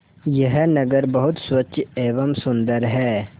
यह नगर बहुत स्वच्छ एवं सुंदर है